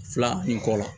Fila nin kɔ la